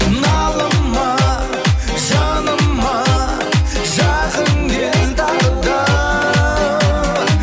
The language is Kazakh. налыма жаныма жақын кел тағы да